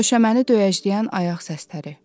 Döşəməni döyəcləyən ayaq səsləri.